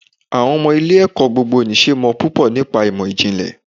Àwọn ọmọ ilé ẹ̀kọ́ gbogbo nì ṣe mọ̀ púpọ̀ nípa ìmò ìjìnlẹ̀.